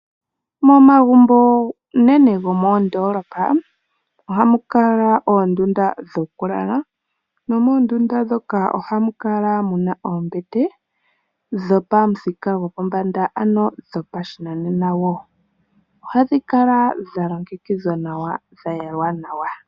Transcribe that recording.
Momagumbo unene gomoodoolopa ohamu kala muna oondunda dhokulala. Moondunda moka ohamu kala muna oombete dhopamuthika gopombanda ano dhopashinanena. Ohadhi kala dha longekidhwa dha yalwa nawa